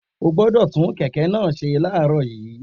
O gbọ́dọ̀ tún kẹ̀kẹ́ náà ṣe láàárọ̀ yìí